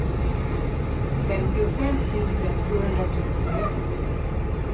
femtiofem tusen sjuhundratrettioett